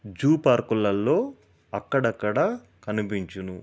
Zoo park లలో అక్కడ అక్కడ కనిపించను.